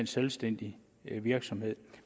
selvstændig virksomhed